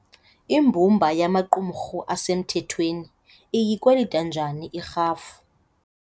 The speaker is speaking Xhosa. Imbumba yemarumrhu esemthethweni iyikwelita njani irhafu?